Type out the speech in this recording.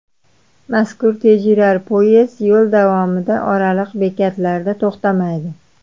Mazkur tezyurar poyezd yo‘l davomida oraliq bekatlarda to‘xtamaydi.